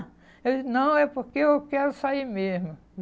Eu disse, não, é porque eu quero sair mesmo.